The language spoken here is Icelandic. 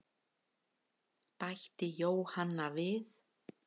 Bætti Jóhanna við.